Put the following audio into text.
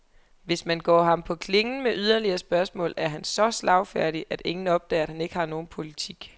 Hvis man går ham på klingen med yderligere spørgsmål, er han så slagfærdig, at ingen opdager, at han ikke har nogen politik.